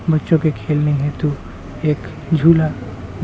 बच्चों के खेलने हेतु एक झूला --